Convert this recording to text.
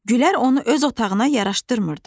Gülər onu öz otağına yaraşdırmırdı.